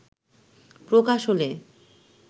প্রকাশ হলে